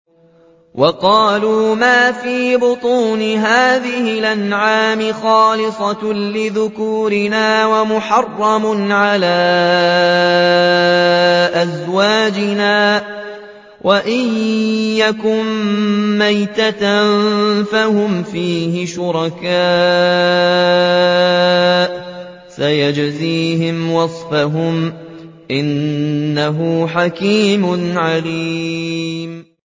وَقَالُوا مَا فِي بُطُونِ هَٰذِهِ الْأَنْعَامِ خَالِصَةٌ لِّذُكُورِنَا وَمُحَرَّمٌ عَلَىٰ أَزْوَاجِنَا ۖ وَإِن يَكُن مَّيْتَةً فَهُمْ فِيهِ شُرَكَاءُ ۚ سَيَجْزِيهِمْ وَصْفَهُمْ ۚ إِنَّهُ حَكِيمٌ عَلِيمٌ